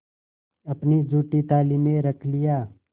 अपनी जूठी थाली में रख लिया